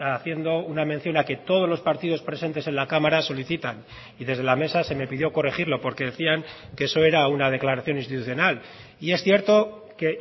haciendo una mención a que todos los partidos presentes en la cámara solicitan y desde la mesa se me pidió corregirlo porque decían que eso era una declaración institucional y es cierto que